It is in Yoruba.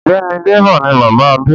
Ọ̀gbẹ́ni Débọ̀ ni bàbá Adé.